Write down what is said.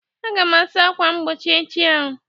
Aga m asa ákwà mgbochi echi ahụ